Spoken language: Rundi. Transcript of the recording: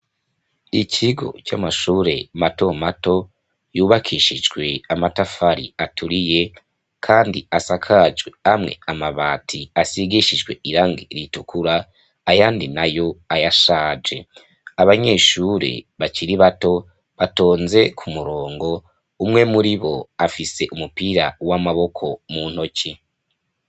Ikigo c'amashure matomato yubakishijwe amatafari aturiye kandi asakajwe amwe amabati asigishijwe irangi ritukura ayandi nayo ayashaje abanyeshure bakiri bato batonze ku murongo umwe muribo afise umupira w'amaboko mu ntoki.